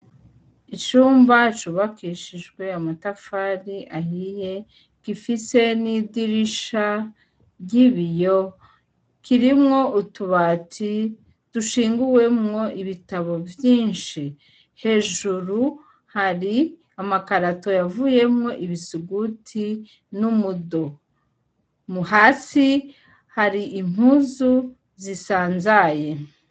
Icumba cubakishijwe amatafari ahiye gifise n'idirisha ry'ibiyo kirimwo utubati dushinguwemwo ibitabo vyinshi, hejuru hari amakarato yavuyemwo ibisuguti n'umudo, hasi hari impuzu zisanzaye.